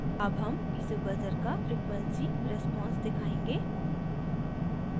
अब हम piezo buzzer का frequency आवृत्ति response दिखायेंगे